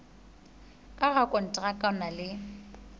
ka rakonteraka o na le